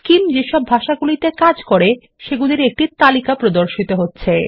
scheme যেসব ভাষাগুলিতে কাজ করতে পারে সেগুলির একটি তালিকা প্রদর্শন হচ্ছে